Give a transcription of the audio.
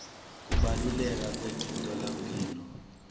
kubaluleka kwemitfolamphilo